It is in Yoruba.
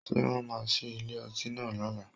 Ṣé wọ́n máa ṣí ilé ọtí náà lọ́la?